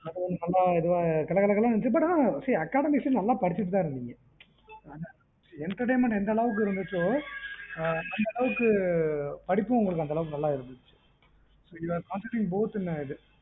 நல்லா கலகலனு இருந்திச்சி ஆனா see academics நல்லா படிச்சிட்டு தான் இருந்திங்க entertainment எந்த அளவுக்கு இருந்துச்சோ அந்த அளவுக்கு படிப்பும் நல்லா இருந்தது you concentrating more than இது